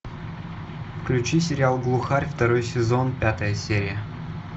включи сериал глухарь второй сезон пятая серия